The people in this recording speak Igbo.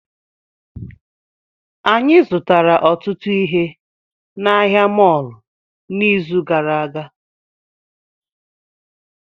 Anyị zụtara ọtụtụ ihe na ahịa mọọlụ n'izu gara aga